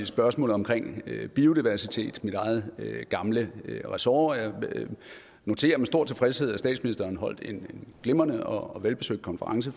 spørgsmålet om biodiversitet mit eget gamle ressort jeg noterer med stor tilfredshed at statsministeren holdt en glimrende og velbesøgt konference